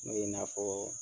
n y'a fɔ